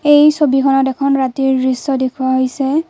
এই ছবিখনত এখন ৰাতিৰ দৃশ্য দেখুওৱা হৈছে।